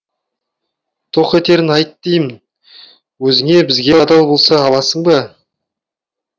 тоқ етерін айт деймін өзің бізге адал бола аласың ба